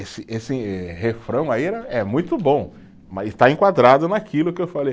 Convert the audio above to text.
Esse esse refrão aí era, é muito bom, mas está enquadrado naquilo que eu falei.